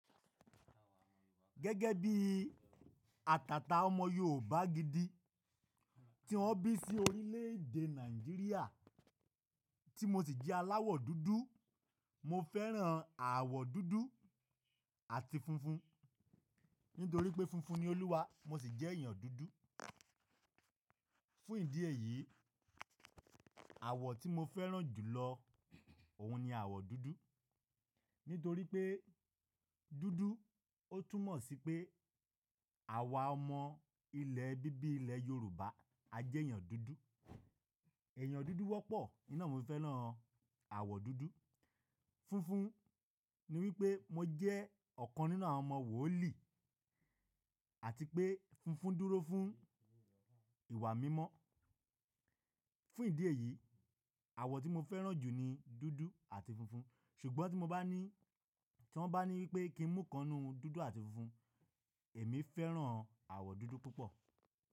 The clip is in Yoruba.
Gẹ́gẹ́ bí àtàtà ọmọ Yorùbá gidi tí wọ́n bí sí orílè èdè Nàìjíríà tí mo sì jẹ́ aláwọ̀ dúdú, mo fẹ́ràn àwọ̀ dúdú àti funfun nítorí pé funfun ni Olúwa mo sì jẹ́ èèyàn dúdú. Fún ìdí èyí, àwọ̀ tí mo fẹ́ràn jù lọ òun ni àwọ̀ dúdú nítorí pé dúdú ó túnmọ̀ sí pé àwa ọmọ ilẹ̀ bíbí ilẹ̀ Yorùbá a jẹ́ èèyàn dúdú. Ẹ̀yàn dúdú wọ́pọ̀, nínà mo fẹ́ràn àwọ̀ dúdú. Funfun ni wípé mo jẹ́ ọ̀kan nínú àwọn ọmọ wòó̀lì àti pé funfun dúró fún ìwà mímọ́. Fún ìdí èyí, àwọ̀ tí mo fẹ́ràn jù ni dúdú àti funfun ṣùgbọ́n tí wọ́n bá ní wípé kí n mú kanú dúdú àti funfun, èmi fẹ́ràn àwọ̀ dúdú púpọ̀